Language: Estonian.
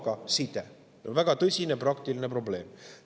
Ja see on väga tõsine praktiline probleem.